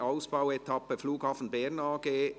4. Ausbauetappe Flughafen Bern AG, Belpmoos: